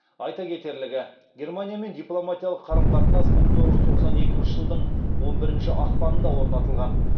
айта кетерлігі германиямен дипломатиялық қарым қатынас мың тоғыз жүз тоқсан екінші жылдың он бірінші ақпанында орнатылған